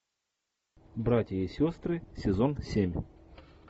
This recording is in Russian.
братья и сестры сезон семь